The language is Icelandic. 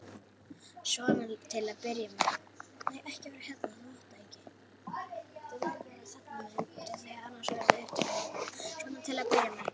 Svona til að byrja með.